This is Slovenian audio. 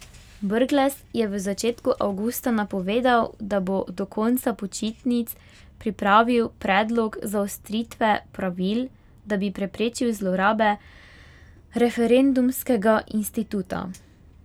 Brglez je v začetku avgusta napovedal, da bo do konca počitnic pripravil predlog zaostritve pravil, da bi preprečil zlorabe referendumskega instituta.